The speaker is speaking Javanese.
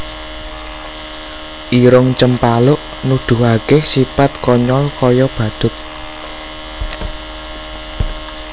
Irung Cempaluk Nuduhaké sipat konyol kaya badhut